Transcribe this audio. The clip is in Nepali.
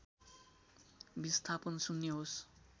विस्थापन शून्य होस्